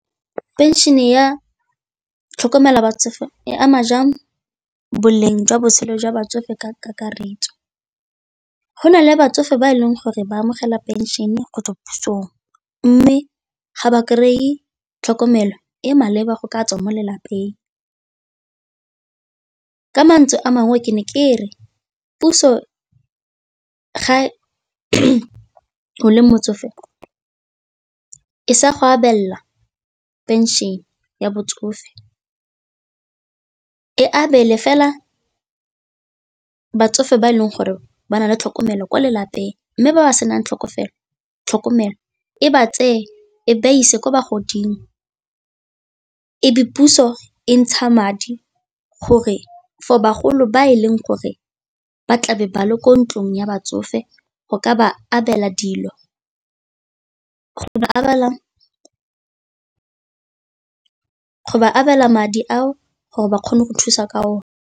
Pension-e ya tlhokomelo ya batsofe e ama jang boleng jwa botshelo jwa batsofe ka kakaretso? Go na le batsofe ba e leng gore ba amogela pension-e go tswa ko pusong mme ga ba kry-e tlhokomelo e e maleba go ka tswa mo lelapeng, ka mantswe a mangwe ke ne ke re puso ga o le motsofe e sa go abela pension ya batsofe e abelwe fela batsofe ba e leng gore ba na le tlhokomelo ko lelapeng, mme ba ba senang tlhokomelo e ba tseye ko ba ise ko bagoding, e be puso e ntsha madi gore for bagolo ba e leng gore ba tlabe ba le ko ntlong ya batsofe go ka ba abela dilo, go ba abela ba abela madi ao gore ba kgone go thusa ka one.